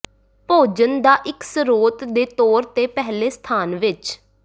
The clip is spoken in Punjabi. ਭੋਜਨ ਦਾ ਇੱਕ ਸਰੋਤ ਦੇ ਤੌਰ ਤੇ ਪਹਿਲੇ ਸਥਾਨ ਵਿੱਚ